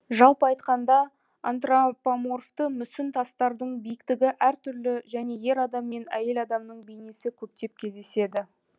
жалпы айтқанда антропоморфты мүсін тастардың биіктігі әртүрлі және ер адам мен әйел адамның бейнесі көптеп кездеседі